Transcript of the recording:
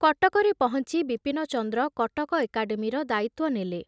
କଟକରେ ପହଞ୍ଚି ବିପିନଚନ୍ଦ୍ର କଟକ ଏକାଡ଼େମୀର ଦାୟିତ୍ଵ ନେଲେ।